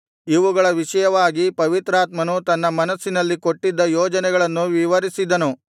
ಇವುಗಳ ವಿಷಯವಾಗಿ ಪವಿತ್ರಾತ್ಮನು ತನ್ನ ಮನಸ್ಸಿನಲ್ಲಿ ಕೊಟ್ಟಿದ್ದ ಯೋಜನೆಗಳನ್ನು ವಿವರಿಸಿದನು